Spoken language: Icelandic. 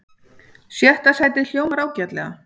Sjötta sætið hljómar ágætlega